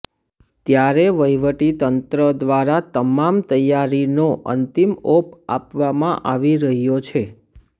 ત્યારે વહીવટીતંત્ર દ્વારા તમામ તૈયારીનો અંતિમઓપ આપવામાં આવી રહ્યો છે